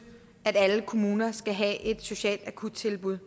at alle kommuner skal have et socialt akuttilbud